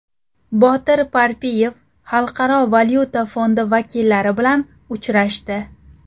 Botir Parpiyev Xalqaro valyuta fondi vakillari bilan uchrashdi.